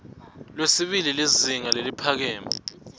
lwesibili lizinga leliphakeme